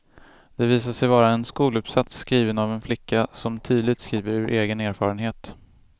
Det visar sig vara en skoluppsats skriven av en flicka som tydligt skriver ur egen erfarenhet.